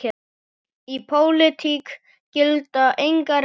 Í pólitík gilda engar reglur.